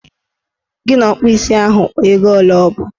Gị na ọkpụ isi ahụ kpaa ego ole ọbụ!